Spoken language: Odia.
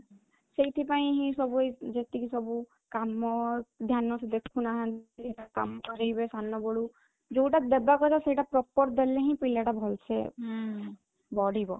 ସେଇଥି ପାଇଁ ହିଁ ସବୁ ଏଇ ଯେତିକି ସବୁ କାମ ଧ୍ୟାନ ସେ ଦେଖୁନାହାନ୍ତି କରିବେ ସାନ ବେଳୁ ଯୋଉଟା ଦେବା କଥା ସେଇଟା proper ଦେଲେ ହିଁ ପିଲାଟା ଭଲସେ ହୁଁ ବଢିବ